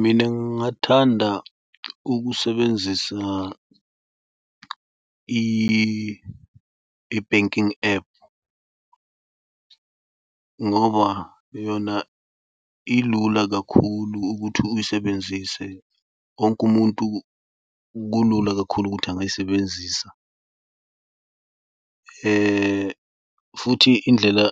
Mina ngingathanda ukusebenzisa i-banking app ngoba yona ilula kakhulu ukuthi uyisebenzise. Wonke umuntu kulula kakhulu ukuthi angayisebenzisa futhi indlela